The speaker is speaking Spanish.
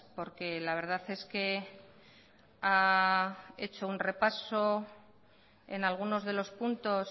porque la verdad es que ha hecho un repaso en algunos de los puntos